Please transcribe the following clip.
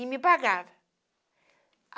E me pagava.